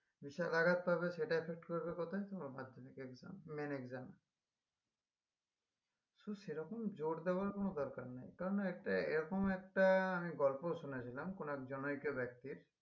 বিশাল আঘাত পাবে সেটা effect করবে কোথায়? এবং মাধ্যমিকের exam main exam so সেরকম জোর দেওয়ার কোনো দরকার নেই কারণ একটা এরকম একটা আমি গল্প শুনেছিলাম কোনো এক ব্যক্তির